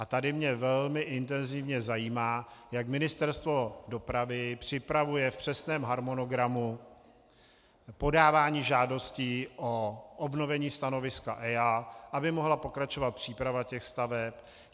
A tady mě velmi intenzivně zajímá, jak Ministerstvo dopravy připravuje v přesném harmonogramu podávání žádostí o obnovení stanoviska EIA, aby mohla pokračovat příprava těch staveb.